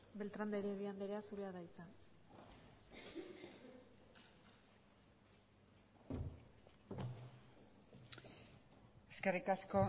beltan de heredia anderea zurea da hitza eskerrik asko